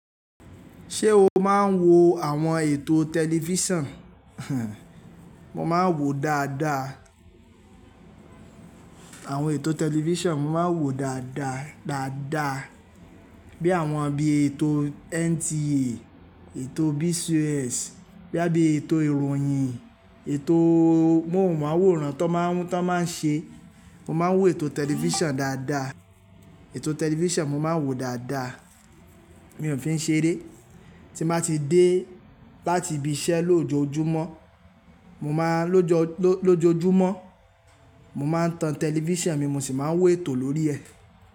Ṣé o máa ń wo àwọn ètò tẹlifíṣàn? Mo máa ń wòó dáadáa. Àwọn ètò tẹlifíṣàn mo máa ń wòó dáadáa, dáadáa. Bí i àwọn bí ètò NTA, ètò BCOS, bóyá bí i ètò ìròyìn, ètò mo máa ń wòó ran tó máa ń, tó máa ń ṣe. Mo máa ń wòó ètò tẹlifíṣàn dáadáa. Ètò tẹlifíṣàn mo máa ń wòó dáadáa. Mi ò fi ń ṣe rẹ. Tí n báa ti dé láti ibi iṣẹ́ lójoojúmọ́ mo máa tan tẹlifíṣàn mi mo sì máa ń wo ètò lórí ẹ̀.